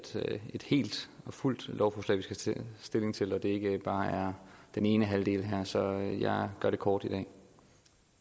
et helt og fuldt lovforslag vi skal tage stilling til og at det ikke bare er den ene halvdel her så jeg gør det kort